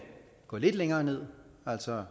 gå lidt længere ned altså